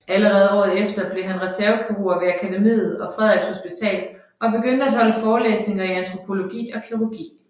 Allerede året efter blev han reservekirurg ved Akademiet og Frederiks Hospital og begyndte at holde forelæsninger i antropologi og kirurgi